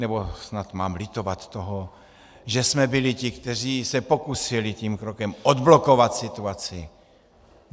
Nebo snad mám litovat toho, že jsme byli ti, kteří se pokusili tím krokem odblokovat situaci?